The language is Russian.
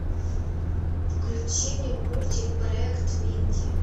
включи мне мультик проект минди